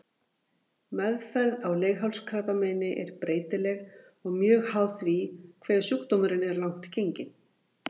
Meðferð á leghálskrabbameini er breytileg og mjög háð því hve sjúkdómurinn er langt genginn.